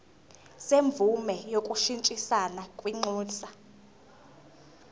semvume yokushintshisana kwinxusa